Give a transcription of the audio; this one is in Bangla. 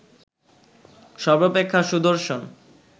সর্বাপেক্ষা সুদর্শন